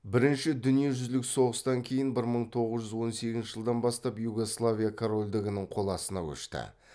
бірінші дүниежүзілік соғыстан кейін бір мың тоғыз жүз он сегізінші жылдан бастап югославия корольдігінің қол астына көшті